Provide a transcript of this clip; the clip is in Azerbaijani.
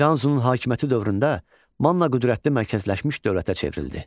İranzunun hakimiyyəti dövründə Manna qüdrətli mərkəzləşmiş dövlətə çevrildi.